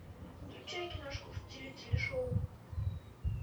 включай киношку в стиле телешоу